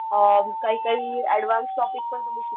अ काही काही advance topic पण तुम्ही